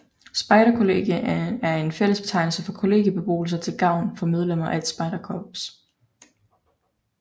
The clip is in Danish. Spejderkollegium er en fællesbetegnelse for kollegiebeboelser til gavn for medlemmer af et spejderkorps